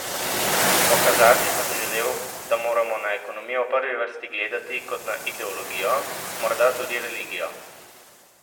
Pokazati sem želel, da moramo na ekonomijo v prvi vrsti gledati kot na ideologijo, morda tudi religijo.